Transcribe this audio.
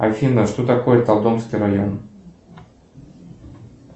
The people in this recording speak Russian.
афина что такое толдонский район